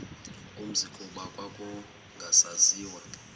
umzi kuba kwakungasaziwa